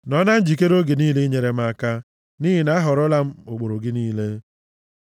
Nọọ na njikere oge niile inyere m aka, nʼihi na ahọrọla m ụkpụrụ gị niile.